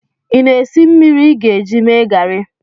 ị na-esi mmiri ị ga-eji mee garị